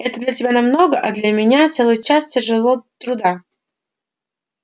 это для тебя намного а для меня целый час тяжело труда